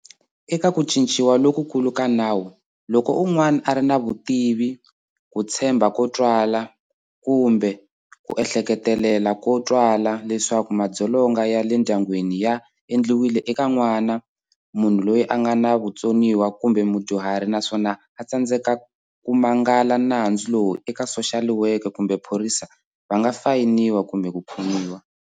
Eka ku cinciwa lokukulu ka nawu, loko un'wana a ri na vutivi, ku tshemba ko twala kumbe ku ehleketelela ko twala leswaku madzolonga ya le ndyangwini ya endliwile eka n'wana, munhu loyi a nga na vutsoniwa kumbe mudyuhari naswona a tsandzeka ku mangala nandzu lowu eka soxaliweke kumbe phorisa va nga fayiniwa kumbe ku khomiwa.